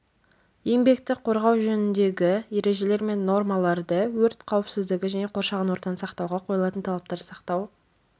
еңбекті қорғау жөніндегі ережелер мен нормаларды өрт қауіпсіздігі және қоршаған ортаны сақтауға қойылатын талаптарды сақтау